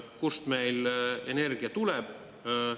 Kust meil energia tuleb?